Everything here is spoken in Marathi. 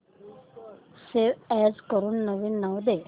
सेव्ह अॅज करून नवीन नाव दे